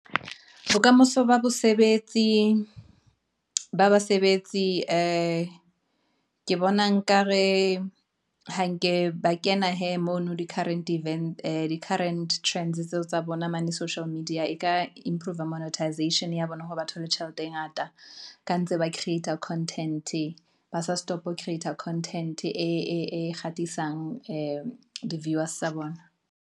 Bokamoso ba basebetsi, ke bona nkare ha nke ba kena hee mono di current trend tseo tsa bona mane social media e ka improve-r monetization ya bona hore ba thole tjhelete e ngata. Ka ntse ba creat-a content, ba sa stop-e creat-a content-e e kgahlisang di viewers tsa bona.